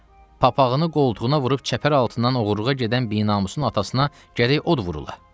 Papağını qoltuğuna vurub çəpər altından oğurluğa gedən binamusun atasına gərək od vurula.